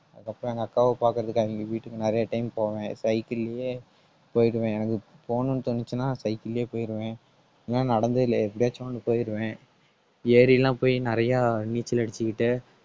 அதுக்கப்புறம் எங்க அக்காவை பாக்குறதுக்கு அவங்க வீட்டுக்கு நிறைய time போவேன் cycle லயே போயிடுவேன். எனக்கு போணுன்னு தோணுச்சுன்னா cycle லயே போயிடுவேன் ஏன்னா நடந்தது இல்லை எப்படியாச்சும் ஒண்ணு போயிடுவேன். ஏரி எல்லாம் போய் நிறைய நீச்சல் அடிச்சுக்கிட்டு